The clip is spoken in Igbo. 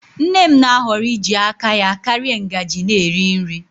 Nne m na-ahọrọ iji aka ya karịa ngaji na-eri nri.